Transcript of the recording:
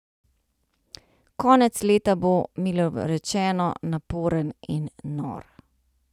Konec leta bo, milo rečeno, naporen in nor.